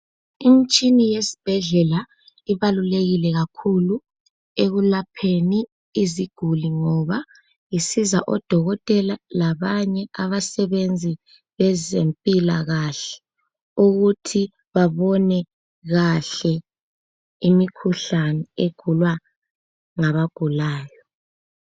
Imitshini yesibhedlela ibaluleke kakhulu ekuLapheni iziguli ngoba zisiza odokotela labanye abasebenza kwezempilakahle ukuthi babone kahle imikhuhlane egulwa ngabagulayo